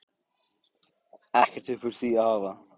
Ekkert upp úr því að hafa?